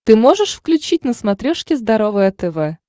ты можешь включить на смотрешке здоровое тв